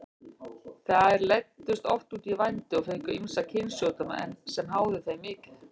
Þær leiddust oft út í vændi og fengu ýmsa kynsjúkdóma sem háðu þeim mikið.